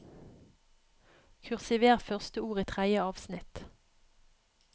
Kursiver første ord i tredje avsnitt